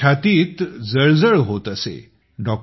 माझ्या छातीत जळजळ होत असे